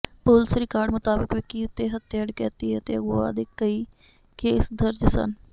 police record ਮੁਤਾਬਕ ਵਿੱਕੀ ਉੱਤੇ ਹੱਤਿਆ ਡਕੈਤੀ ਅਤੇ ਅਗਵਾ ਦੇ ਕਈ ਕੇਸ ਦਰਜ ਸਨ